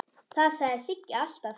Það sagði Siggi alltaf.